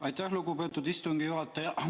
Aitäh, lugupeetud istungi juhataja!